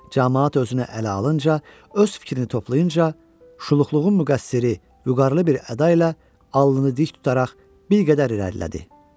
Camaat özünə ələ alınca, öz fikrini toplayınca, şuluqluğun müqəssiri vüqarlı bir əda ilə alnını dik tutaraq bir qədər irəlilədi.